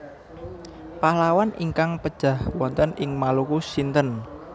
Pahlawan ingkang pejah wonten ing Maluku sinten